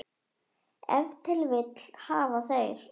Ef til vill hafa þeir.